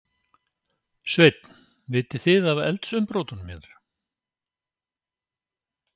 Sveinn: Vitið þið af eldsumbrotunum hér?